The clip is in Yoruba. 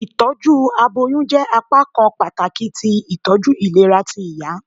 Itọju aboyun jẹ apakan pataki ti itọju ilera ti iya.